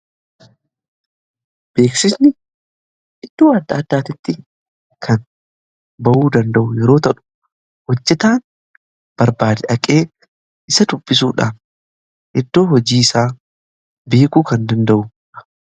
Beeksisni iddoo adda addaatitti kan ba'uu danda'u yeroo tahu hojjetaan barbaade dhaqee isa dubbisuudhan iddoo hojii isaa beekuu kan danda'udha.